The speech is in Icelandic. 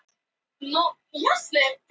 Ætli það sé ekki hann Eiður Smári.